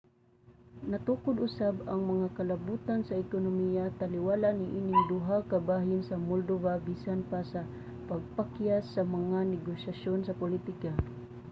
natukod usab ang mga kalabutan sa ekonomiya taliwala niining duha ka bahin sa moldova bisan pa sa pagkapakyas sa mga negosasyon sa politika